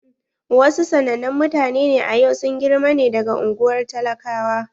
Wa su sanannen mutane a yau sun girma ne daga unguwar talakawa.